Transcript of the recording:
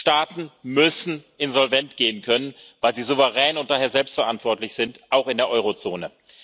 Staaten müssen insolvent gehen können, weil sie souverän und daher selbst verantwortlich sind, auch in der Eurozone.